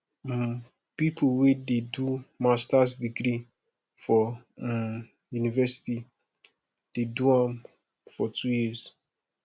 um pipo wey dey do masters degree for um university dey do am for two years